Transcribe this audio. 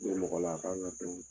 mɔgɔ la a kan dɔn